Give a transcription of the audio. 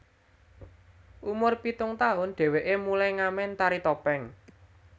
Umur pitung taun dheweke mulai ngamen tari topeng